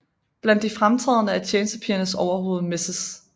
Blandt de fremtrædende er tjenestepigernes overhoved Mrs